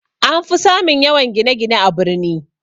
Anfi samun yawan gine-gine a birni